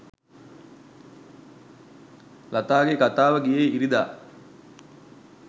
ලතාගේ කතාව ගියේ ඉරිදා